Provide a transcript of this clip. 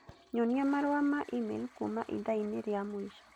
Nyonia marũa ma e-mail kuuma ithaa-inĩ rĩa mũico